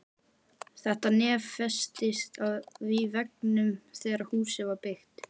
Þetta nef festist í veggnum þegar húsið var byggt.